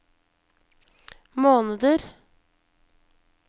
måneder